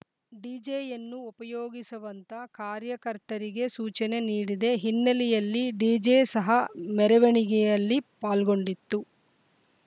ಡಿಜೆಯನ್ನು ಉಪಯೋಗಿಸುವಂತ ಕಾರ್ಯಕರ್ತರಿಗೆ ಸೂಚನೆ ನೀಡಿದೆ ಹಿನ್ನೆಲೆಯಲ್ಲಿ ಡಿಜೆ ಸಹ ಮೆರವಣಿಗೆಯಲ್ಲಿ ಪಾಲ್ಗೊಂಡಿತ್ತು